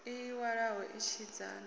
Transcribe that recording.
ii iwalo itshena hu o